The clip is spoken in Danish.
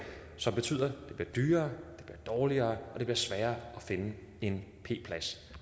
som betyder at det bliver dyrere dårligere og sværere at finde en p plads